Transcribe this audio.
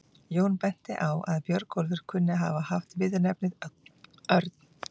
Jón benti á að Björnólfur kunni að hafa haft viðurnefnið örn.